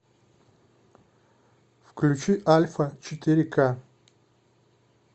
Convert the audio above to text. включи альфа четыре ка